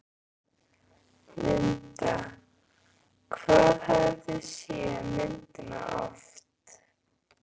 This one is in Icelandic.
Linda: Hvað hafið þið séð myndina oft?